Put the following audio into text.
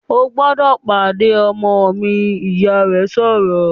"O gbọ́dọ̀ pàdé ọmọ mi!", Ìyá rẹ̀ sọ̀rọ̀